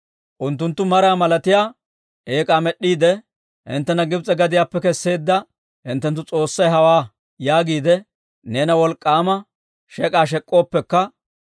«Unttunttu maraa malatiyaa eek'aa med'd'iide, ‹Hinttena Gibs'e gadiyaappe kesseedda hinttenttu s'oossay hawaa› yaagiide neena wolk'k'aama shek'k'aa shek'k'ooppekka,